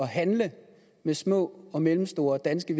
handle med små og mellemstore danske